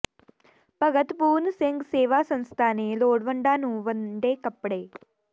ਭਗਤ ਪੂਰਨ ਸਿੰਘ ਸੇਵਾ ਸੰਸਥਾ ਨੇ ਲੋੜਵੰਦਾਂ ਨੂੰ ਵੰਡੇ ਕੱਪੜੇ